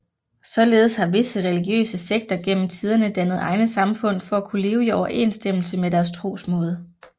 Således har visse religiøse sekter gennem tiderne dannet egne samfund for at kunne leve i overensstemmelse med deres trosmåde